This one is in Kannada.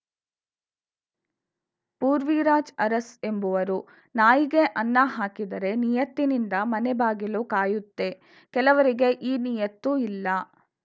ಪೂರ್ವಿರಾಜ್‌ ಅರಸ್‌ ಎಂಬುವರು ನಾಯಿಗೆ ಅನ್ನಾ ಹಾಕಿದರೆ ನಿಯತ್ತಿನಿಂದ ಮನೆ ಬಾಗಿಲು ಕಾಯುತ್ತೆ ಕೆಲವರಿಗೆ ಈ ನಿಯತ್ತು ಇಲ್ಲಾ